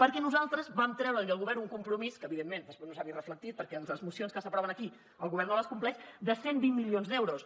perquè nosaltres vam treure li al govern un compromís que evidentment després no s’ha vist reflectit perquè les mocions que s’aproven aquí el govern no les compleix de cent i vint milions d’euros